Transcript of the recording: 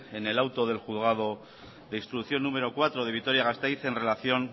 en al auto del juzgado de instrucción núm cuatro de vitoria gasteiz en relación